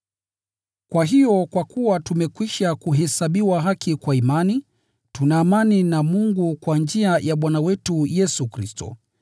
Kwa hiyo, kwa kuwa tumekwisha kuhesabiwa haki kwa imani, tuna amani na Mungu kwa njia ya Bwana wetu Yesu Kristo,